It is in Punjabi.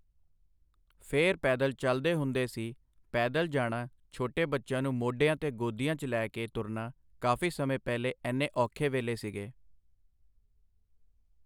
ਫੇਰ ਪੈਦਲ ਚੱਲਦੇ ਹੁੰਦੇ ਸੀ ਪੈਦਲ ਜਾਣਾ ਛੋਟੇ ਬੱਚਿਆਂ ਨੂੰ ਮੋਢਿਆਂ 'ਤੇ ਗੋਦੀਆਂ 'ਚ ਲੈ ਕੇ ਤੁਰਨਾ ਕਾਫ਼ੀ ਸਮੇਂ ਪਹਿਲੇ ਐਨੇ ਔਖੇ ਵੇਲੇ ਸੀਗੇ।